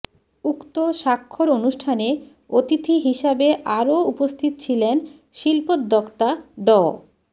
উক্ত স্বাক্ষর অনুষ্ঠানে অতিথি হিসাবে আরও উপস্থিত ছিলেন শিল্পোদ্যোক্তা ড